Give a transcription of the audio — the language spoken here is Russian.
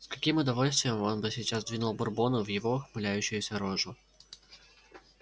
с каким удовольствием он бы сейчас двинул бурбону в его ухмыляющуюся рожу